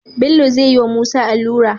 Bello zayi wa musa alura